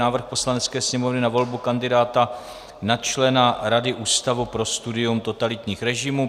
Návrh Poslanecké sněmovny na volbu kandidátů na člena Rady Ústavu pro studium totalitních režimů